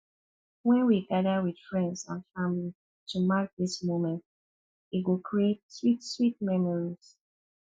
wen we gather with friends and family to mark these moments e go create sweet sweet memories